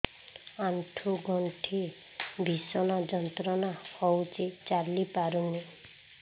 ଆଣ୍ଠୁ ଗଣ୍ଠି ଭିଷଣ ଯନ୍ତ୍ରଣା ହଉଛି ଚାଲି ପାରୁନି